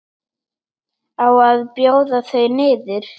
Á að bjóða þau niður?